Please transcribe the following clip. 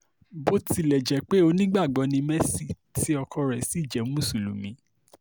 bó tilẹ̀ jẹ́ pé onígbàgbọ́ ni mercy tí ọkọ rẹ̀ sì jẹ́ mùsùlùmí